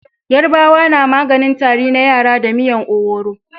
Yarabawa na maganin Tari na yara da miyar owuro